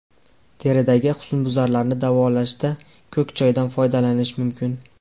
Teridagi husnbuzarlarni davolashda ko‘k choydan foydalanish mumkin.